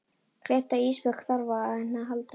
Gleymt að Ísbjörg þarf á henni að halda.